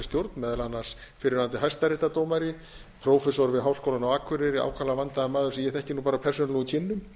stjórn meðal annars fyrrverandi hæstaréttardómari prófessor við háskólann á akureyri ákaflega vandaður maður sem ég þekki nú bara af persónulegum kynnum